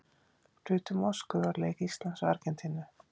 Flug til Moskvu á leik Íslands og Argentínu.